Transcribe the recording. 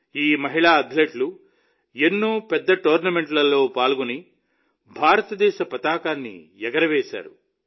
ఈ మహిళా అథ్లెట్లు ఎన్నో పెద్ద టోర్నమెంట్లలో పాల్గొని భారతదేశ పతాకాన్ని ఎగురవేశారు